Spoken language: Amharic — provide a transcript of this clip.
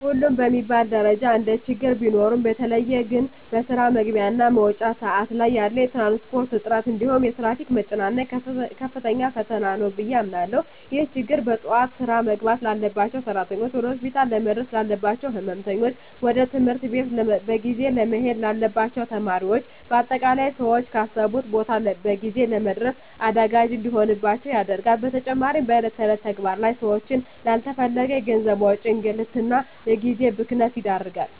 ሁሉም በሚባል ደረጃ እንደችግር ቢኖሩም በተለየ ግን በስራ መግቢያ እና መውጫ ሰአት ላይ ያለ የትራንስፖርት እጥረት እንዲሁም የትራፊክ መጨናነቅ ከፍተኛ ፈተና ነው ብየ አምናለሁ። ይህ ችግር በጠዋት ስራ መግባት ላባቸው ሰራተኞች፣ ወደ ሆስፒታል ለመድረስ ላለባቸው ህመምተኞች፣ ወደ ትምህርት ቤት በጊዜ መሄድ ለሚኖርባቸው ተማሪዎች በአጠቃላይ ሰወች ካሰቡት ቦታ በጊዜ ለመድረስ አዳጋች እንዲሆንባቸው ያደርጋል። በተጨማሪም በእለት እለት ተግባር ላይ ሰወችን ላለተፈለገ የገንዘብ ወጪ፣ እንግልት እና የጊዜ ብክነት ይዳርጋል።